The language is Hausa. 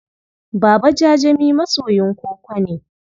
Baba Jajami masoyin koko ne.